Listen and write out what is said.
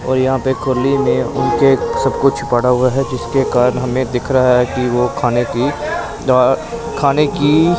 और यहां पे खुली में उनके सब कुछ पड़ा हुआ है जिसके कारण हमें दिख रहा है कि वो खाने की द्वा खाने की--